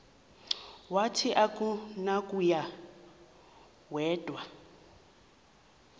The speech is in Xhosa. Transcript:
wathi akunakuya wedw